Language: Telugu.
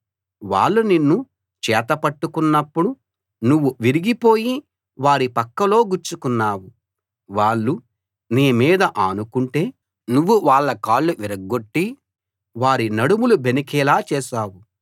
వాళ్ళు నిన్ను చేత పట్టుకున్నప్పుడు నువ్వు విరిగిపోయి వారి పక్కలో గుచ్చుకున్నావు వాళ్ళు నీ మీద ఆనుకుంటే నువ్వు వాళ్ళ కాళ్ళు విరగ్గొట్టి వారి నడుములు బెణికేలా చేశావు